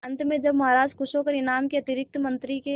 अंत में जब महाराज खुश होकर इनाम के अतिरिक्त मंत्री के